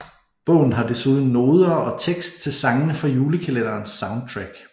Bogen har desuden noder og tekst til sangene fra julekalenderens soundtrack